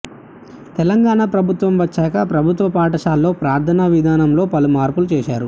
తెలంగాణ ప్రభుత్వం వచ్చాక ప్రభుత్వ పాఠశాలల్లో ప్రార్థన విధానంలో పలు మార్పులు చేశారు